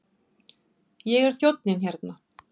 Ég er þjónninn hérna.